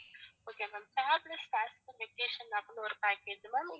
okay ma'am fabulous vacation அப்படின்னு ஒரு package ma'am